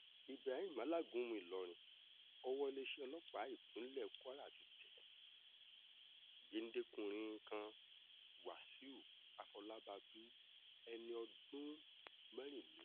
ibrahim alágúnmu ìlọrin ọwọ iléeṣẹ́ ọlọ́pàá ìpínlẹ̀ kwara ti tẹ géńdé-kùnrin kan wàsíù àfọlábàbí ẹni ọdún mẹ́rìnlé